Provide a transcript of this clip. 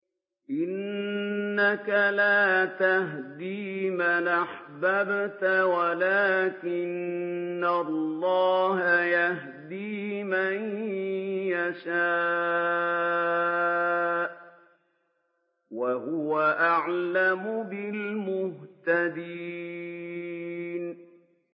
إِنَّكَ لَا تَهْدِي مَنْ أَحْبَبْتَ وَلَٰكِنَّ اللَّهَ يَهْدِي مَن يَشَاءُ ۚ وَهُوَ أَعْلَمُ بِالْمُهْتَدِينَ